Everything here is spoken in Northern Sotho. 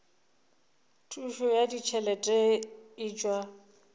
thušo ya ditšhelete e tšwa